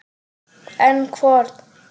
En hvorn?